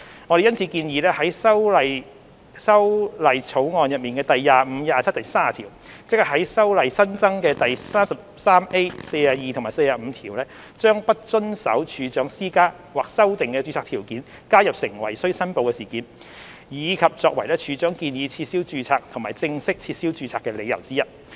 我們因此建議在《條例草案》第25、27和30條，即在《條例》新增的第 33A、42和45條，將"不遵守處長施加或修訂的註冊條件"加入成為須申報事件，以及作為處長建議撤銷註冊和正式撤銷註冊的理由之一。